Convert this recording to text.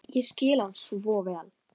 Ég skil hann svo vel.